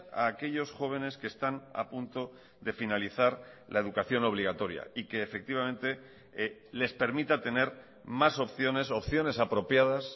a aquellos jóvenes que están a punto de finalizar la educación obligatoria y que efectivamente les permita tener más opciones opciones apropiadas